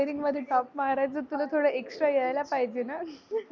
engineering मध्ये top मारायच तुला थोडं extra यायला पाहिजे ना?